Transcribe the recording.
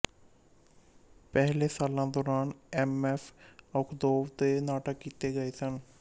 ਪਹਿਲੇ ਸਾਲਾਂ ਦੌਰਾਨ ਐਮ ਐਫ ਆਖੁੰਦੋਵ ਦੇ ਨਾਟਕ ਕੀਤੇ ਗਏ ਸਨ